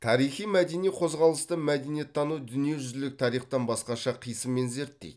тарихи мәдени қозғалысты мәдениеттану дүниежүзілік тарихтан басқаша қисынмен зерттейді